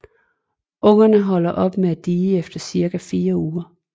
Ungerne holder op med at die efter cirka 4 uger